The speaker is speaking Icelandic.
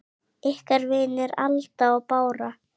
Ykkar vinir, Alda og Bára.